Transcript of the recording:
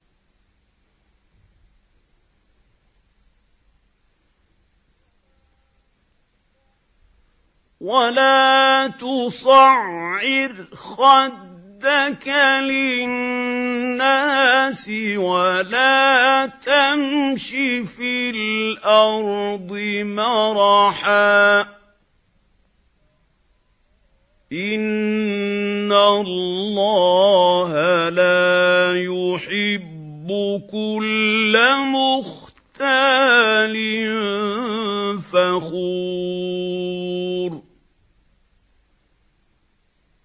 وَلَا تُصَعِّرْ خَدَّكَ لِلنَّاسِ وَلَا تَمْشِ فِي الْأَرْضِ مَرَحًا ۖ إِنَّ اللَّهَ لَا يُحِبُّ كُلَّ مُخْتَالٍ فَخُورٍ